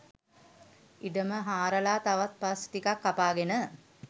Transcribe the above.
ඉඩම හාරලා තවත් පස්‌ ටිකක්‌ කපාගෙන